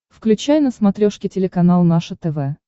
включай на смотрешке телеканал наше тв